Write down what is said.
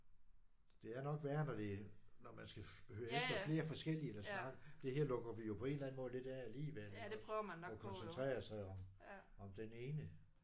Det er nok værre når det når man skal høre efter lidt flere eller snakke. Det her det lukker vi jo på en eller anden måde lidt af alligevel iggås og koncentrerer sig om om den ene